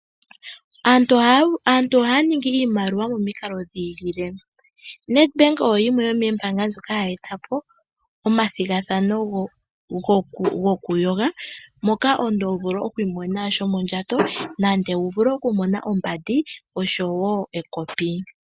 Aantu ohaya ningi iimaliwa momikalo dhi ilile, NedBank oyo yimwe yomoombanga ndjoka hayi eta po omathigathano go ku yoga. Moka omuntu ho vulu oku imonena shomondjato nenge wu vule okumona wo ombandi, oshowo ekopi.